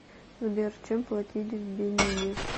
сбер чем платить в бенине